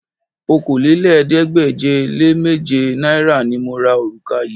Okòólélẹ́ẹ̀ẹ́dégbèje-le-méje náírà ni mo ra òrùka yìí